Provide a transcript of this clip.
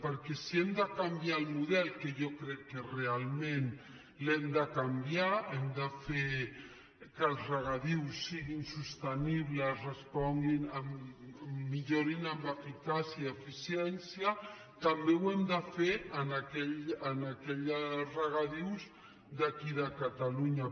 perquè si hem de canviar el model que jo crec que realment l’hem de canviar hem de fer que els regadius siguin sostenibles millorin en eficàcia i eficiència també ho hem de fer en aquells regadius d’aquí de catalunya